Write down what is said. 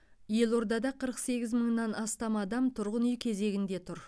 елордада қырық сегіз мыңнан астам адам тұрғын үй кезегінде тұр